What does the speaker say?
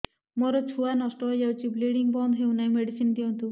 ମୋର ଛୁଆ ନଷ୍ଟ ହୋଇଯାଇଛି ବ୍ଲିଡ଼ିଙ୍ଗ ବନ୍ଦ ହଉନାହିଁ ମେଡିସିନ ଦିଅନ୍ତୁ